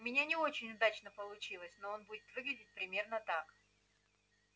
у меня не очень удачно получилось но он будет выглядеть примерно так